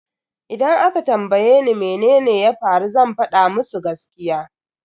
Idan aka tambaye ni mene ya faru zan fada musu gaskiya.